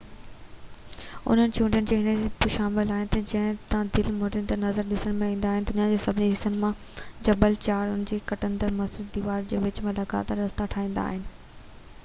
انهن چوٽين ۾ اهي به شامل آهن جن تان دل موهيندڙ نظارا ڏسڻ ۾ ايندا آهن دنيا جي سڀني حصن مان جبل چاڙهو اڻ کُٽندڙ مضبوط ديوارن جي وچ ۾ لڳاتار رستا ٺاهيندا آهن